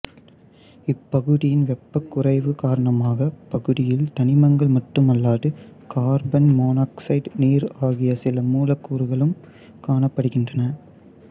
இப்பகுதியின் வெப்பக்குறைவு காரணமாக இப்பகுதியில் தனிமங்கள் மட்டுமல்லாது கார்பன் மோனாக்சைடு நீர் ஆகிய சில மூலக்கூறுகளும் காணப்படுகின்றன